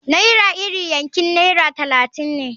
Naira iri yankin naira talatin ne.